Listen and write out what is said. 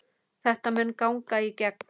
Þetta mun ganga í gegn.